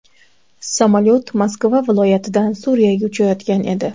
Samolyot Moskva viloyatidan Suriyaga uchayotgan edi.